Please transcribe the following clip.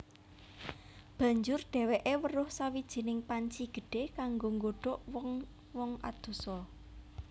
Banjur dhèwèké weruh sawijining panci gedhé kanggo nggodhog wong wong adosa